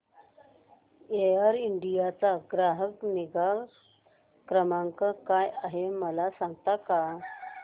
air India चा ग्राहक निगा क्रमांक काय आहे मला सांगता का